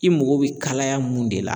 I mago bɛ kalaya mun de la